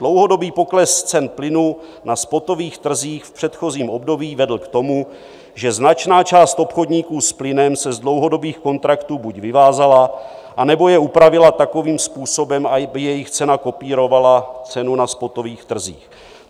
Dlouhodobý pokles cen plynu na spotových trzích v předchozím období vedl k tomu, že značná část obchodníků s plynem se z dlouhodobých kontraktů buď vyvázala, anebo je upravila takovým způsobem, aby jejich cena kopírovala cenu na spotových trzích.